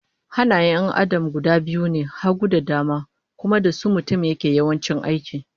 Hannayen 'yan Adam guda biyu ne, hagu da dama, kuma da su mutum yake yawanci ayyuka